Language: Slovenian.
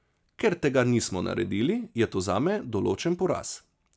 Ker tega nismo naredili, je to zame določen poraz.